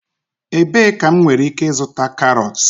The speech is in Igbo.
Ebee ka m nwere ike ịzụta carrots?